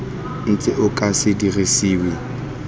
ntse o ka se dirisiwe